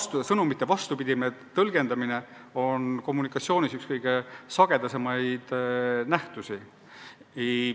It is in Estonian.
Sõnumite tõlgendamine vastupidi soovitule on kommunikatsioonis üks kõige sagedasemaid nähtusi.